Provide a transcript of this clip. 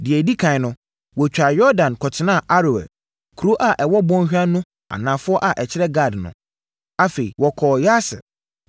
Deɛ ɛdi ɛkan no, wɔtwaa Yordan kɔtenaa Aroer, kuro a ɛwɔ bɔnhwa no anafoɔ a ɛkyerɛ Gad no. Afei, wɔkɔɔ Yaser,